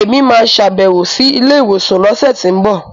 Èmi máa sàbẹ̀wò sí ilé ìwòsàn lọ́sẹ̀tínbọ̀